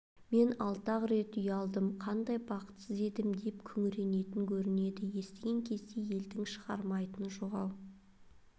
мен алты-ақ рет үй алдым қандай бақытсыз едім деп күңіренетін көрінеді естіген кезде елдің шығармайтыны жоқ-ау